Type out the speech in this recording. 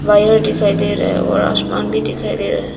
Wire दिखाई दे रहा है और आसमान भी दिखाई दे रहा है।